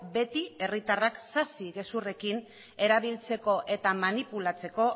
beti herritarrak sasi gezurrekin erabiltzeko eta manipulatzeko